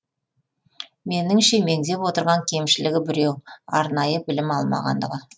меніңше меңзеп отырған кемшілігі біреу арнайы білім алмағандығы